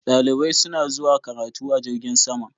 Dalibai suna zuwa karatu a jirgin sama.